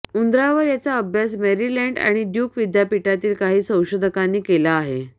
उंदरांवर याचा अभ्यास मेरीलँड आणि ड्युक विद्यापीठातील काही संशोधकांनी केला आहे